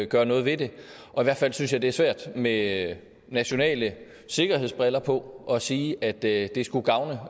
gøre noget ved det og i hvert fald synes jeg det er svært med nationale sikkerhedsbriller på at sige at det skulle gavne